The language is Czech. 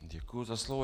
Děkuji za slovo.